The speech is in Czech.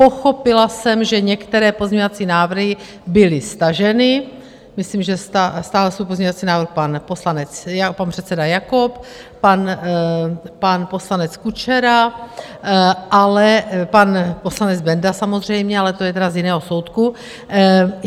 Pochopila jsem, že některé pozměňovací návrhy byly staženy, myslím, že stáhl svůj pozměňovací návrh pan předseda Jakob, pan poslanec Kučera, pan poslanec Benda samozřejmě, ale to je teda z jiného soudku.